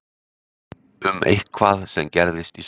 Um eitthvað sem gerðist í sumar?